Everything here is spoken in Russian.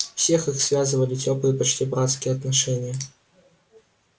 всех их связывали тёплые почти братские отношения